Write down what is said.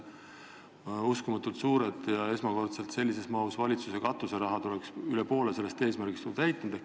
Uskumatult suured, esmakordselt sellises mahus makstud valitsuse katuserahad oleksid üle poole sellest eesmärgist ju täitnud.